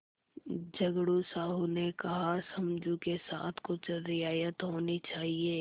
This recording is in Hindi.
झगड़ू साहु ने कहासमझू के साथ कुछ रियायत होनी चाहिए